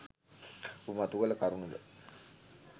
ඔබ මතු කළ කරුණු ද